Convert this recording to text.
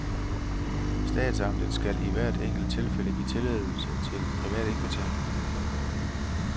Statsamtet skal i hvert enkelt tilfælde give tilladelse til privat indkvartering.